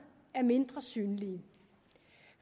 er mindre synlige